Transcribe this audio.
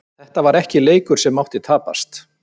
Þetta var ekki leikur sem mátti tapast.